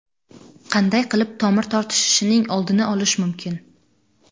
Qanday qilib tomir tortishishining oldini olish mumkin?